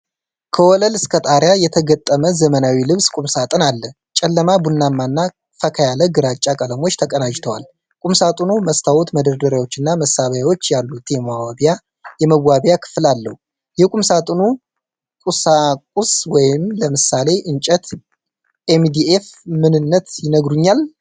ከወለል እስከ ጣሪያ የተገጠመ ዘመናዊ ልብስ ቁምሳጥን አለ። ጨለማ ቡናማና ፈካ ያለ ግራጫ ቀለሞች ተቀናጅተዋል። ቁምሳጥኑ መስታወት፣ መደርደሪያዎችና መሳቢያዎች ያሉት የመዋቢያ ክፍል አለው። የቁምሳጥኑን ቁሳቁስ (ለምሳሌ እንጨት፣ ኤምዲኤፍ) ምንነት ይነግሩኛል?